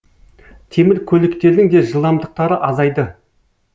темір көліктердің де жылдамдықтары азайды